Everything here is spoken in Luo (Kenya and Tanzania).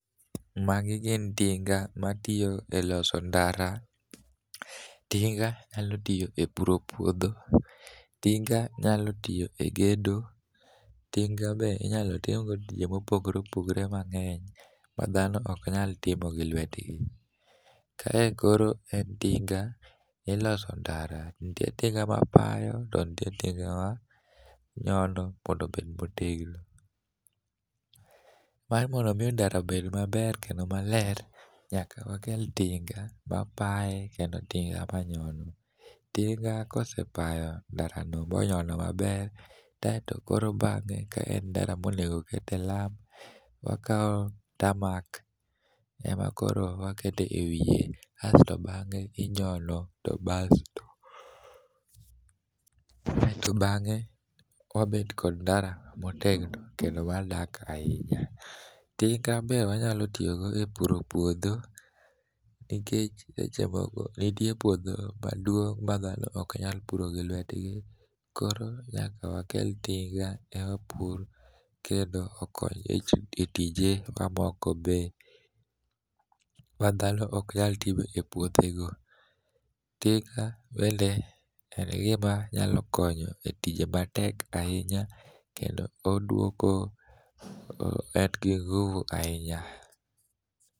Magi gin tinga matiyo e loso ndara. Tinga nyalo tiyo e puro puodho. Tinga nyalo tiyo e gedo. Tinga be inyalo tim go tije ma opogore opogore mangény ma dhano ok nyalo timo gi lwetgi. Kae koro en tinga miloso ndara. Nitie tinga ma payo, to nitie tinga ma nyono mondo obed motegno. Mar moro omi ndara obed maber kendo maler, nyaka wakel tinga, mapaye kendo tinga manyono. Tinga kosepayo ndara no bonyono maber, kaeto koro bang'e ka en ndara no ma onego okete lam, wakao tamarc ema koro waketo e wiye. Asto bangé inyono, to aeto bangé, wabet kod ndara motegno, kendo mar madak ahinya. Tinga be wanyalo tiyo go e puro puodho, nikech seche moko nitiere puodho maduong' ma dhano ok nyalo puro gi lwetgi. Koro nyaka wakel tinga ema pur kendo okony e tije mamoko be, madhano oknyal timo e puothe go. Tinga bende, en gima nyalo konyo e tije matek ahinya, kendo oduoko, en gi nguvu ahinya.